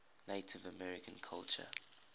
native american culture